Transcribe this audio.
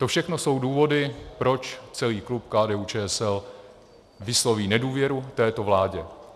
To všechno jsou důvody, proč celý klub KDU-ČSL vysloví nedůvěru této vlády.